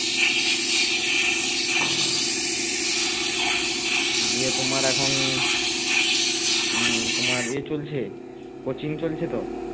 দিয়ে তোমার এখন উম তোমার ইয়ে চলছে coaching চলছে তো